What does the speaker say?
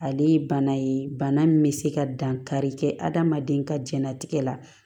Ale ye bana ye bana min bɛ se ka dankari kɛ adamaden ka jɛnnatigɛ la